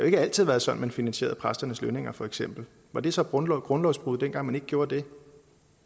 ikke altid være sådan man finansierede præsternes lønninger for eksempel var det så grundlovsbrud dengang man ikke gjorde det